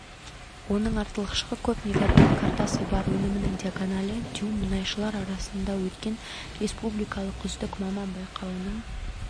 оның артықшылығы көп мегабайт картасы бар өнімінің диагоналі дюйм мұнайшылар арасында өткен республикалық үздік маман байқауының